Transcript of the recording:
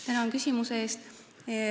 Tänan küsimuse eest!